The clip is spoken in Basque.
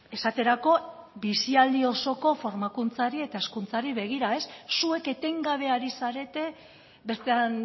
esaterako bizialdi osoko formakuntzari eta hezkuntzari begira zuek etengabe ari zarete bestean